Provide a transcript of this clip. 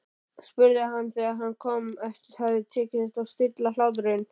spurði hann þegar honum hafði tekist að stilla hláturinn.